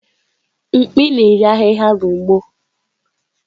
Mkpi na-eri ahihia n’ugbo.